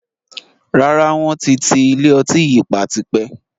Rárá, wọn ti ti ilé ọtí yìí pa tipẹ́